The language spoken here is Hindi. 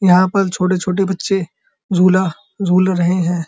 यहाँ पर छोटे-छोटे बच्चे झूला झूल जूल रहे हैं।